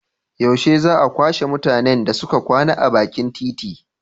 Yaushe za a kwashe mutanen da suke kwana a bakin titi?